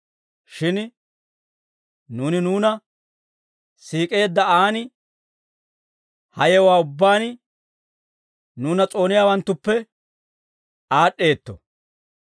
Shin nuuni nuuna siik'eedda aan ha yewuwaa ubbaan nuuna s'ooniyaawanttuppe aad'd'eetto.